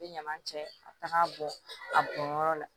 Bɛ ɲaman cɛ ka taga bɔn a bɔnyɔrɔ la